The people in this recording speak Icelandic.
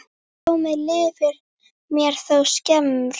Blómið lifir mér þó skemur.